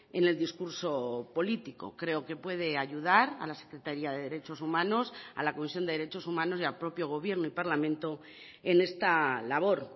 en el discurso político creo que puede ayudar a la secretaría de derechos humanos a la comisión de derechos humanos y al propio gobierno y parlamento en esta labor